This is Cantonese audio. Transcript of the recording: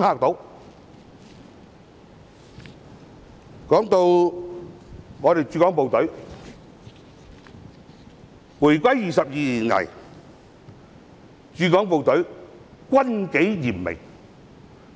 談到駐港部隊，回歸22年以來，駐港部隊軍紀嚴明，